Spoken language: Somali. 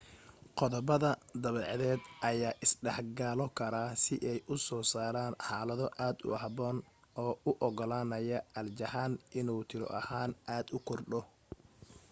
qodobada dabeecadeed ayaa is dhexgalo kara si ay u soo saaraan xaalado aad u habboon oo u ogolaanaya aljahan inuu tiro ahaan aad u kordho